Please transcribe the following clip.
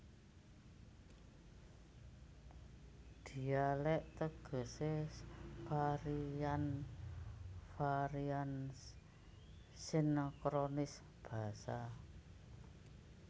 Dhialèk tegesé varian varian sinkronis basa